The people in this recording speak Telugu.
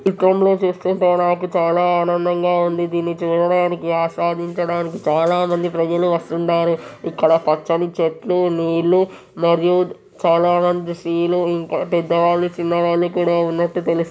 ఈ చిత్రంలో చూస్తుంటే నాకు చాలా ఆనందంగా ఉంది. దీనిని చూడడానికి ఆస్వాదించటానికి చాలామంది ప్రజలు వస్తుండారు. ఇక్కడ పచ్చని చెట్లు నీళ్లు మరియు చాలామంది స్త్రీలు ఇంకా పెద్దవాళ్లు చిన్నవాళ్లు కూడాా ఉన్నట్టు తెలు--